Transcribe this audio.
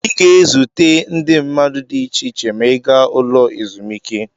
Ị ga-ezute ụdị mmadụ dị iche iche ma ị gaa n'ụlọ ezumike.